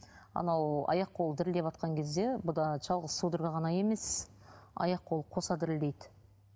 анау аяқ қолы дірілдеватқан кезде бұнда жалғыз судорога ғана емес аяқ қолы қоса дірілдейді